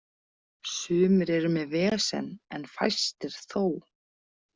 Sumir eru með vesen en fæstir þó.